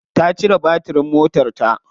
Ta cire batirin motarta.